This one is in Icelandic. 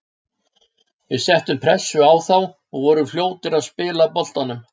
Við settum pressu á þá og vorum fljótir að spila boltanum.